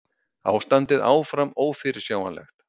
Ástandið áfram ófyrirsjáanlegt